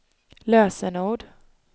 lösenord